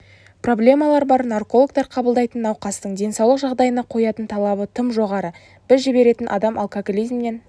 проблемалар бар наркологтар қабылдайтын науқастың денсаулық жағдайына қоятын талабы тым жоғары біз жіберетін адам алкоголизмнен